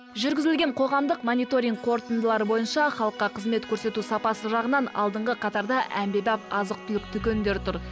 жүргізілген қоғамдық моинторинг қорытындылары бойынша халыққа қызмет көрсету сапасы жағынан алдыңғы қатарда әмбебап азық түлік дүкендері тұр